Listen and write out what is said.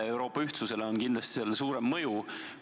Euroopa ühtsusele on sellel kindlasti suurem mõju.